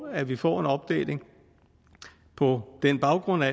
at vi får en opdeling på den baggrund at